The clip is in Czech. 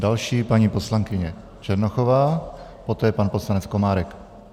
Další paní poslankyně Černochová, poté pan poslanec Komárek.